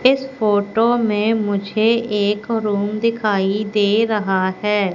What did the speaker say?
इस फोटो में मुझे एक रूम दिखाई दे रहा है।